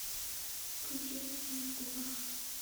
включи на твоих губах